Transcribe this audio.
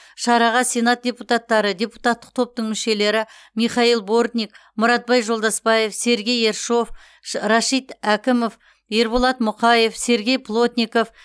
шараға сенат депутаттары депутаттық топтың мүшелері михаил бортник мұратбай жолдасбаев сергей ершов рашит әкімов ерболат мұқаев сергей плотников